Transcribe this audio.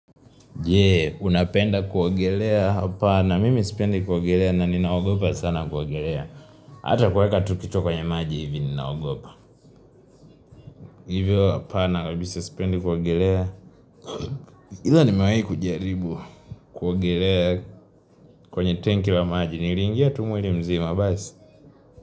Je, unapenda kuogelea hapa, na mimi sipendi kuogelea, na ninaogopa sana kuogelea. Hata kuweka tu kichwa kwenye maji hivi ninaogopa. Hivyo hapana, mimi sipendi kuogelea. Ila nimewahi kujaribu kuogelea kwenye tenki la maji, nilingia tu mwili mzima mziza basi.